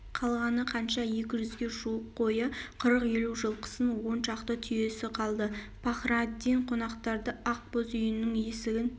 қалғаны қанша екі жүзге жуық қойы қырық-елу жылқысы оншақты түйесі қалды пахраддин қонақтарды ақ боз үйінің есігін